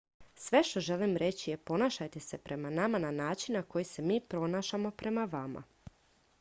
sve što želim reći je ponašajte se prema nama na način na koji se mi ponašamo prema vama